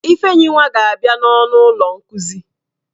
Ifeyinwa ga-abia n'ọnụ ụlọ nkuzi.